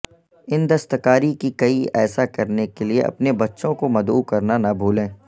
ان دستکاری کی کئی ایسا کرنے کے لئے اپنے بچوں کو مدعو کرنا نہ بھولیں